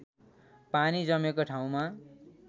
पानी जमेको ठाउँमा